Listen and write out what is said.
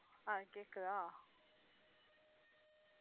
ஆஹ் கேட்குதா